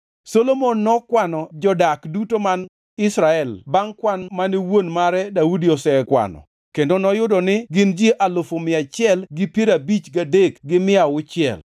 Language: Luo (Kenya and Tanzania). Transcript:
Solomon nokwano jodak duto man Israel bangʼ kwan mane wuon mare Daudi nosekwano kendo noyudo ni gin ji alufu mia achiel gi piero abich gadek gi mia auchiel (153,600).